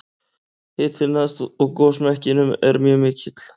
hitinn neðst í gosmekkinum er mjög mikill